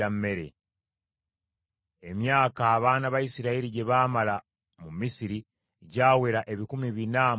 Emyaka abaana ba Isirayiri gye baamala mu Misiri gyawera ebikumi bina mu amakumi asatu.